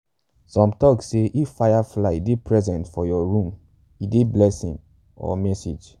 some tok say if fireflies dey present for your room e dey blessing or message.